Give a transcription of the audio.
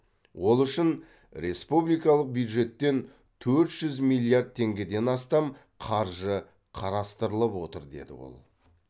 ол үшін республикалық бюджеттен төрт жүз миллиард теңгеден астам қаржы қарастырылып отыр деді ол